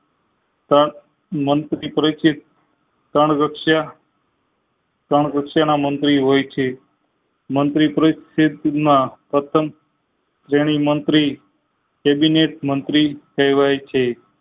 તક મંત્રી પરિચિત તણવ્યખ્યા તારણ વચ્ચે ના મંત્રી હોય છે મંત્રી પરિસ્થિત ના પ્રથમ શ્રેણી મંત્રી કેબિનેટ મંત્રી કહેવાય છે